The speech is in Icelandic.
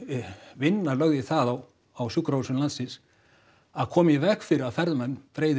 vinna lögð í það á á sjúkrahúsum landsins að koma í veg fyrir að ferðamenn breiði